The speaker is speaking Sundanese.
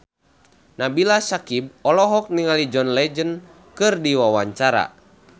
Nabila Syakieb olohok ningali John Legend keur diwawancara